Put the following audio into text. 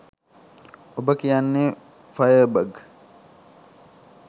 ඔබ කියන fire bug